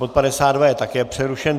Bod 52 je také přerušen.